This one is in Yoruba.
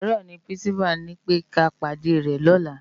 Àárò ni pirinsipá ni pé ká pádè rè lòlá